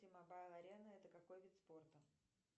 мобайл арена это какой вид спорта